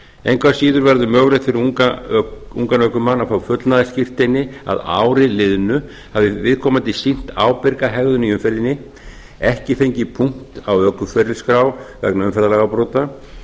engu að síður verður mögulegt fyrir ungan ökumann að fá fullnaðarskírteini að ári liðnu hafi viðkomandi sýnt ábyrga hegðun í umferðinni ekki fengið punkt á ökuferilsskrá vegna umferðarlagabrota